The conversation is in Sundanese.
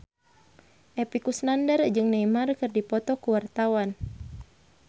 Epy Kusnandar jeung Neymar keur dipoto ku wartawan